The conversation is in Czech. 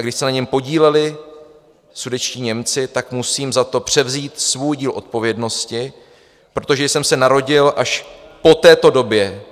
A když se na něm podíleli sudetští Němci, tak musím za to převzít svůj díl odpovědnosti, protože jsem se narodil až po této době,